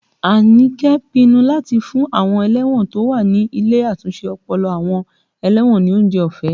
Anike pinnu láti fún àwọn ẹlẹ́wọ̀n tó wà ní ilé àtúnṣe ọpọlọ àwọn ẹlẹ́wọ̀n ní oúnjẹ ọ̀fẹ́